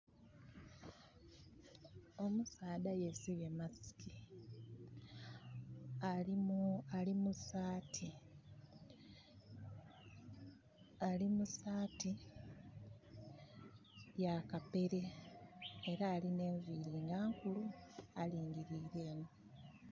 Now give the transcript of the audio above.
Omusaadha yesibye mask ali musaati ya kapere era alinha enviri nga nkulu alingirire enho.